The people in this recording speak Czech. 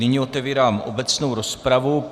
Nyní otevírám obecnou rozpravu.